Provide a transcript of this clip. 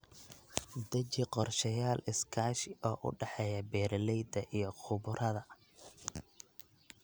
Deji qorshayaal iskaashi oo u dhexeeya beeralayda iyo khubarada.